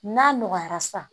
N'a nɔgɔyara sa